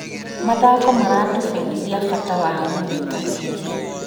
Mthako maratũbundithia bata wa ũnyitanĩri.